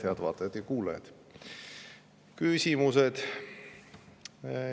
Head vaatajad ja kuulajad!